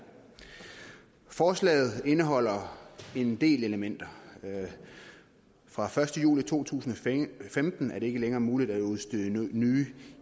forslaget indeholder en del elementer fra første juli to tusind og femten er det ikke længere muligt at udstede nye